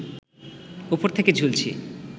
ওপর থেকে ঝুলছি